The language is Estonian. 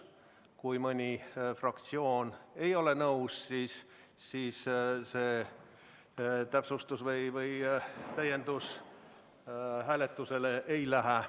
Kui mõni fraktsioon ei ole nõus, siis see täiendus hääletusele ei lähe.